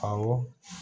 Awɔ